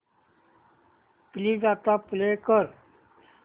please आता play कर